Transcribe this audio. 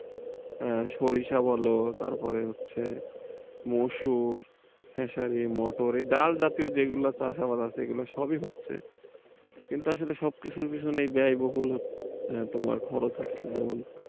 সরিষা বলো তারপরে হচ্ছে মসুর, খেসারি, মটর, ডাল জাতীয় যেগুলো চাষাবাদ আছে এগুলো সবই হচ্ছে কিন্তু আসলে সব কিছুর পিছনেই ব্যয়বহুল হচ্ছে। তোমার খরচ হচ্ছে যেমন,